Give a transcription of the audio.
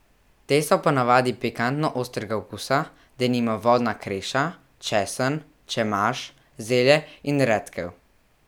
Te so ponavadi pikantno ostrega okusa, denimo vodna kreša, česen, čemaž, zelje in redkev.